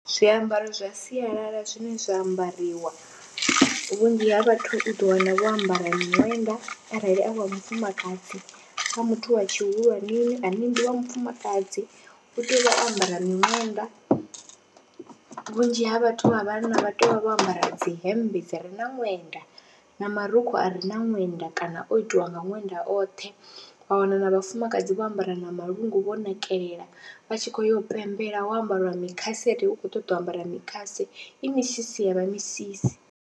Zwiambaro zwa sialala zwine zwa ambariwa vhunzhi ha vhathu u ḓo wana vho ambara miṅwenda arali a wa mufumakadzi, a muthu wa tshihulwaneni ane ndi wa mufumakadzi u tea u vha o ambara miṅwenda, vhunzhi ha vhathu vha vhanna vha tea u vha vho ambara dzihembe dzi re na ṅwenda na marukhu a re na ṅwenda kana o itiwa nga ṅwenda oṱhe, wa wana na vhafumakadzi vho ambara na malungu vho nakelela vha tshi khou ya u pembela ho ambariwa mikhase uri u khou ṱoḓa u ambara mikhase i misisi ya vha misisi.